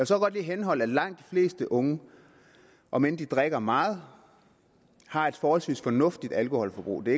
så godt lige henholde at langt de fleste unge om end de drikker meget har et forholdsvis fornuftigt alkoholforbrug det